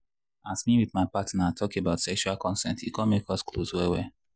as me with my partner talk about sexual consent e come make us close well well.